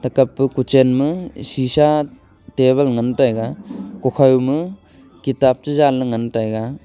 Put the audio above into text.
thekappe kochan ma sisa table ngan taiga gakhau ma kitab che jan la ngan taiga.